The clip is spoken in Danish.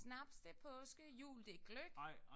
Snaps det er påske jul det er gløgg